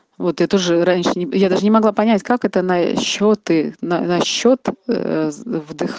вот это же раньше я даже не могла понять как это насчёт и на счетвдыхать